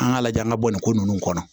An k'a lajɛ an ka bɔ nin ko ninnu kɔnɔ